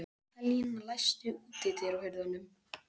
Mikaelína, læstu útidyrunum.